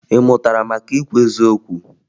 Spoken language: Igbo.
Ị mụtara maka ikwu eziokwu?